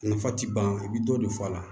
Nafa ti ban i bɛ dɔ de fɔ a la